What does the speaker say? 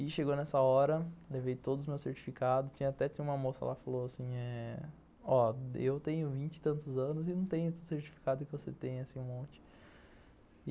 E chegou nessa hora, levei todos os meus certificados, tinha até uma moça lá, falou assim, ó, eu tenho vinte e tantos anos e não tenho esses certificados que você tem, assim, um monte.